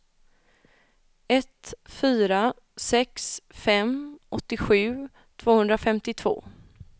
ett fyra sex fem åttiosju tvåhundrafemtiotvå